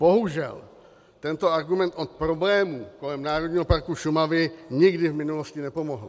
Bohužel, tento argument od problémů kolem Národního parku Šumava nikdy v minulosti nepomohl.